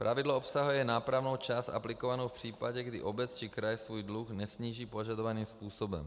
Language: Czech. Pravidlo obsahuje nápravnou část aplikovanou v případě, kdy obec či kraj svůj dluh nesníží požadovaným způsobem.